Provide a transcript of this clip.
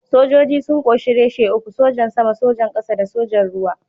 Sojoji sun ƙunshi reshe uku: Sojan Sama, Sojan Ƙasa da Sojan Ruwa.